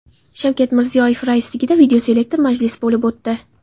Shavkat Mirziyoyev raisligida videoselektor majlis bo‘lib o‘tdi.